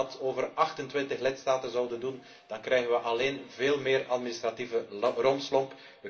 Want als wij dat met 28 lidstaten zouden doen, dan krijgen we alleen veel meer administratieve rompslomp.